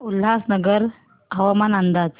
उल्हासनगर हवामान अंदाज